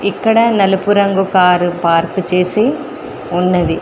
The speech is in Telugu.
ఇక్కడ నలుపు రంగు కారు పార్కు చేసి ఉన్నది.